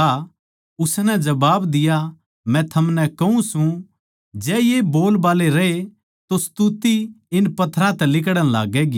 उसनै जबाब दिया मै थमनै कहूँ सूं जै ये बोलबाल्ले रहे तो स्तुति इन पत्थरां तै लिकड़ण लाग्गैगी